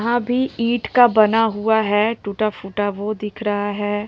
वहाँ भी ईंट का बना हुआ है टूटा-फूटा वो दिख रहा है।